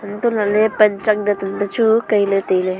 hantoh lah ley panchak dan an peh chu kei ley tai ley.